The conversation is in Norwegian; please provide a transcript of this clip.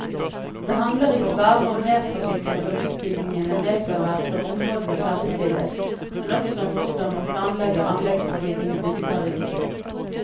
Det handler ikke bare om mertrafikken som utbyggingene medfører når områdene ferdigstilles, men også om hvordan man planlegger anleggstrafikken i byggeperioden.